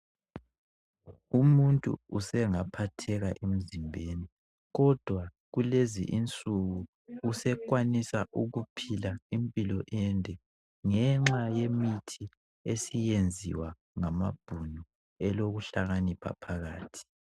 Umuntu usengaphatheka emzimbeni kodwa kulezinsuku usekwanisa ukuphila impilo ende ngenxa yemithi esiyenziwa ngamabhunu elokuhlakanipha phakathi.